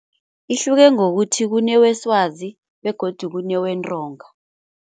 Ihluke ngokuthi kuneweswazi begodu kunewentonga.